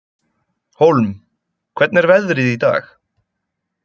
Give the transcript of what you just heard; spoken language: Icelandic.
Hólm, hvernig er veðrið í dag?